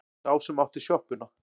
Sá sem átti sjoppuna.